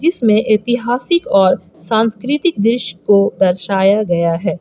जिसमें ऐतिहासिक और सांस्कृतिक दृश्य को दर्शाया गया है।